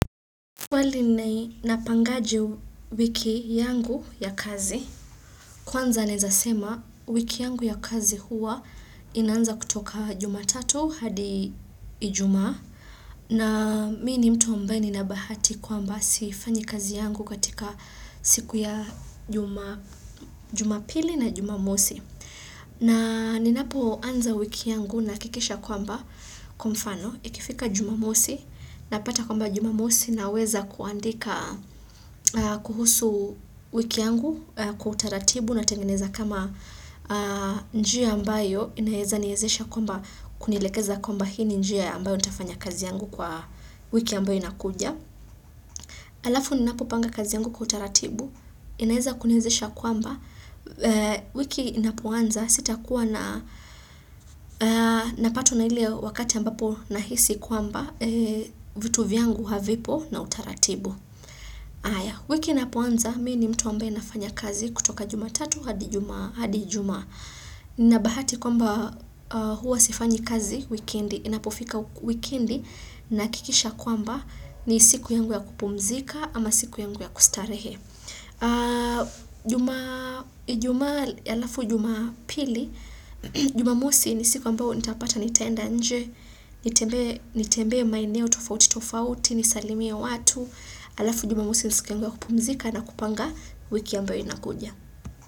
Pale ninai napangaji wiki yangu ya kazi, kwanza naezasema wiki yangu ya kazi huwa inaanza kutoka jumatatu hadi ijumaa namini mtu ambaye ni nabahati kwamba sifanyi kazi yangu katika siku ya jumapili na jumamosi. Na ninapo anza wiki yangu nahakikisha kwamba kwa mfano ikifika jumamosi na pata kwamba jumamosi na weza kuandika kuhusu wiki yangu kwa utaratibu na tengeneza kama njia ambayo inaeza niezesha kwamba kunielekeza kwamba hii njia ambayo nitafanya kazi yangu kwa wiki ambayo inakuja. Alafu ninapopanga kazi yangu kwa utaratibu, inaeza kuniwezisha kwamba, wiki inapoanza sita kuwa na napatwa na ile wakati ambapo nahisi kwamba vitu vyangu havipo na utaratibu. Aya, wiki inapoanza, mi ni mtu ambaye nafanya kazi kutoka jumatatu, hadi jumaa, hadi ijumaa, nina bahati kwamba huwa sifanyi kazi, wikedi, inapofika wikendi, na hakikisha kwamba ni siku yangu ya kupumzika ama siku yangu ya kustarehe. Jumamosi ni siku ambao nitapata nitaenda nje Nitembee maeneo tofauti tofauti, nisalimia watu Alafu jumamosi ni siku yangu ya kupumzika na kupanga wiki ambayo inakuja.